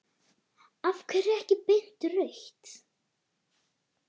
Af hverju ekki beint rautt?